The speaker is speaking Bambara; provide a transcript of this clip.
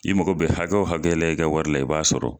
I mago bɛ hakɛ o hakɛ la i ka wari la i b'a sɔrɔ.